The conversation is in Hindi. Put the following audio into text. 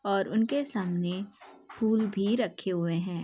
और उनके सामने फूल भी रखे हुए हैं।